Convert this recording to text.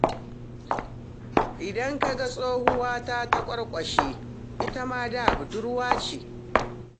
Idan ka ga tsohuwa ta taƙwarƙwashe, ita ma da budurwa ce.